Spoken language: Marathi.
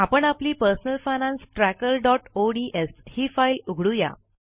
आपण आपली पर्सनल फायनान्स trackerओडीएस ही फाईल उघडू या